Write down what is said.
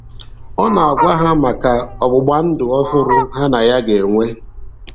Ọ na-agwa ha maka ọgbụgba ndụ ọhụrụ ya na ha ga-enwe.